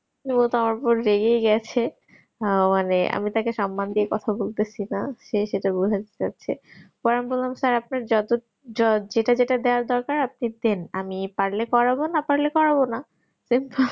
তো তুমি আমার উপর রেগে গেছে হা মানে আমি তাকে সম্মান দিয়ে কথা বলতেসি না সে সেটা বোঝাতে চাইছে পরে বলাম sir আপনার যত যেটা যেটা দেবার দরকার আপনি দেন আমি পারলে করবো না পারলে করবো না